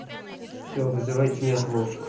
всё вызывайте неотложку